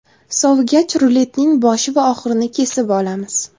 Sovigach, ruletning boshi va oxirini kesib olamiz.